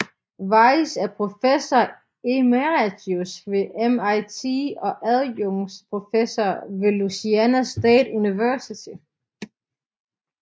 Weiss er professor emeritus ved MIT og adjungeret professor ved Louisiana State University